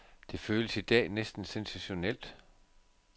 Det føles i dag næsten sensationelt.